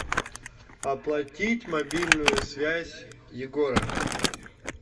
оплатить мобильную связь егора